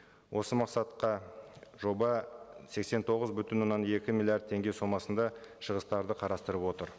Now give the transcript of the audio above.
осы мақсатқа жоба сексен тоғыз бүтін оннан екі миллиард теңге сомасында шығыстарды қарастырып отыр